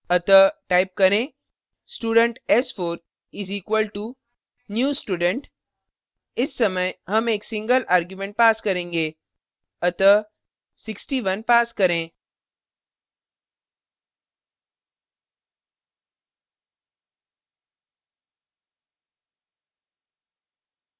अतः type करें student s4 is equalto new student इस समय हम एक single argument pass करेंगे अतः 61 pass करें